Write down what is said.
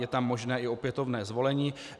Je tam možné i opětovné zvolení.